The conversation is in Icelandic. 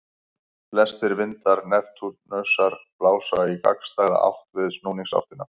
Flestir vindar Neptúnusar blása í gagnstæða átt við snúningsáttina.